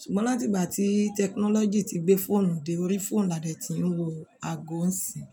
Ṣùgbọ́n láti ìgbà tí tẹkinọ́lọ́jì ti gbé fóònù dé orí, fóònù làdé tí ń wọ ago ọ̀sìn.